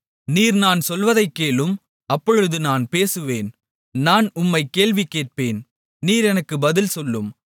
நீர் நான் சொல்வதைக் கேளும் அப்பொழுது நான் பேசுவேன் நான் உம்மைக் கேள்வி கேட்பேன் நீர் எனக்கு பதில் சொல்லும்